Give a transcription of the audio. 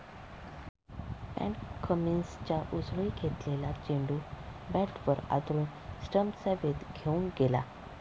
पॅट कमिन्सच्या उसळी घेतलेला चेंडू बॅटवर आदळून स्टम्प्सचा वेध घेऊन गेला.